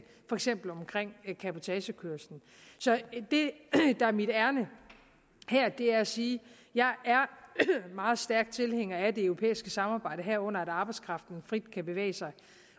for eksempel cabotagekørslen så det der er mit ærinde her er at sige at jeg er meget stærk tilhænger af det europæiske samarbejde herunder at arbejdskraften frit kan bevæge sig